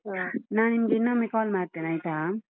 ಹಾ ನಾನ್ ನಿಮ್ಗೆ ಇನ್ನೊಮ್ಮೆ call ಮಾಡ್ತೇನಾಯ್ತಾ?